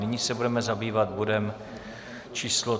Nyní se budeme zabývat bodem číslo